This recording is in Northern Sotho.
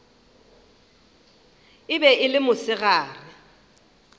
e be e le mosegare